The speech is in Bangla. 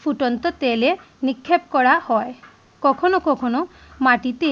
ফুটন্ত তেলে নিক্ষেপ করা হয় কখনো কখনো মাটিতে